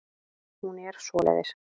Hún er svoleiðis.